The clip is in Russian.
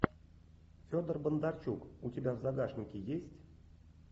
федор бондарчук у тебя в загашнике есть